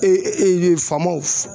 faamaw